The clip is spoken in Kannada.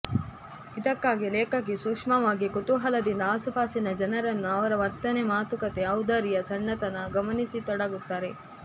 ಇದಕ್ಕಾಗಿ ಲೇಖಕಿ ಸೂಕ್ಷ್ಮವಾಗಿ ಕುತೂಹಲದಿಂದ ಆಸುಪಾಸಿನ ಜನರನ್ನು ಅವರ ವರ್ತನೆ ಮಾತುಕತೆ ಔದಾರ್ಯ ಸಣ್ಣತನ ಗಮನಿಸತೊಡಗುತ್ತಾರೆ